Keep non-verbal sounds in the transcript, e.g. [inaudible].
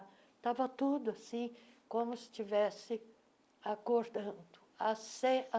Estava tudo assim, como se estivesse acordando. [unintelligible]